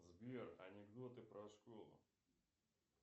сбер анекдоты про школу